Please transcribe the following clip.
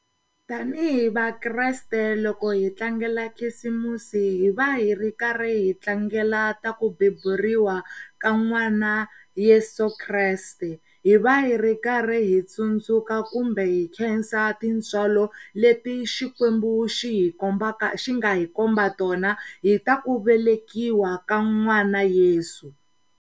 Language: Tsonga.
Tanihi Vakreste loko hi tlangela khisimusi hi va hi ri karhi hi tlangela ta ku beburiwa ka n'wana Yeso Kreste hi va hi ri karhi hi tsundzuka kumbe hi khensa tintswalo leti Xikwembu xi hi kombaka xi nga hi komba tona hi ta ku velekiwa ka n'wana Yesu.